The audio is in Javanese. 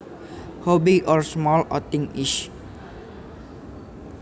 How big or small a thing is